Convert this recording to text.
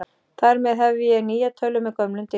Þar með hef ég nýja tölvu með gömlum diski.